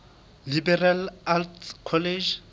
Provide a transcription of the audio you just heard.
liberal arts college